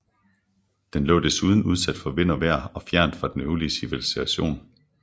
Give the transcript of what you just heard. Den lå desuden udsat for vind og vejr og fjernt fra den øvrige civilisation